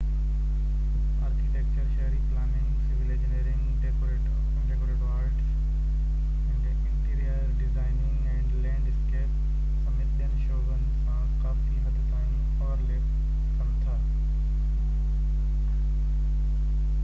architecture شهري planning civil engineering decorative arts interior design ۽ landscape سميت ٻين شعبن سان ڪافي حد تائين اوورليپ ڪن ٿا